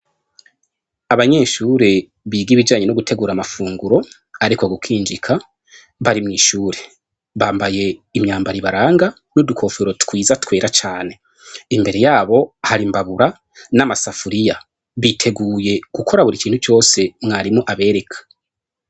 Abanyeshure biga ibijanye no gutegura amafunguro ariko gukinjika bari mw'ishure bambaye imyambaro ibaranga n'udukofero twiza twera cane, imbere yabo har'imbabura n'amasafuriya biteguye gukora buri kintu cose mwarimu abereka.